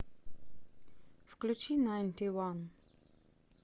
включи найнти ван